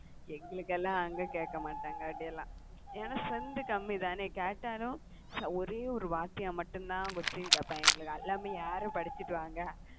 எங்களுக்குலாம் அங்க கேட்க மாட்டாங்க, அப்படி எல்லாம். ஏன்னா strength கம்மி தானே கேட்டாலும் ஒரே ஒரு வாத்தியா மட்டும்தான் question கேட்பாங்க. எங்களுக்கு எல்லாமே யாரும் படிச்சுட்டு வாங்க